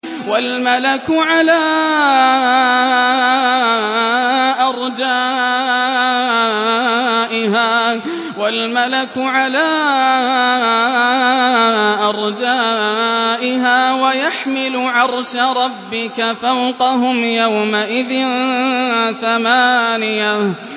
وَالْمَلَكُ عَلَىٰ أَرْجَائِهَا ۚ وَيَحْمِلُ عَرْشَ رَبِّكَ فَوْقَهُمْ يَوْمَئِذٍ ثَمَانِيَةٌ